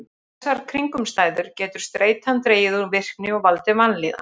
Við þessar kringumstæður getur streitan dregið úr virkni og valdið vanlíðan.